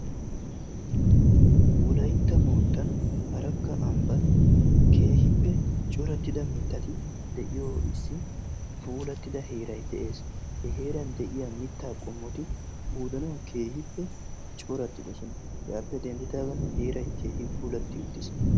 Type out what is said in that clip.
wolaytta moottan arakka ambban keehippe corattida mittati de'iyo issi puulattida heeray de'ees. he heeran de'iyaa mittaa qommoti qoodanaw keehippe coratidoosna. hegappe denddidaagan heeray keehi puulati uttiis.